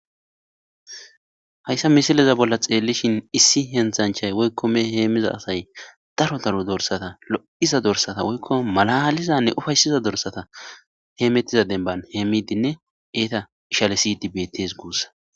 Haysa misileza bolan xeelishin issi hentanchay woyko mehe heemiza asay daro daro dorsata lo'iza dorsata woyko malaalizane ufaysiza dorsata hemetida demban heemidine eeta ishalisidi beetes guusiko.